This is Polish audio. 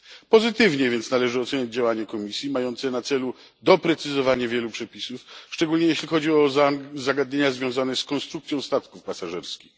Pozytywnie więc należy ocenić działanie Komisji mającej na celu doprecyzowanie wielu przepisów, szczególnie jeśli chodzi o zagadnienia związane z konstrukcją statków pasażerskich.